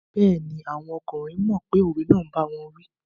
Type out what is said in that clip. Bẹ́ẹ̀ni, àwọn ọkùnrin mọ̀ pé òwe náà n báwọn wí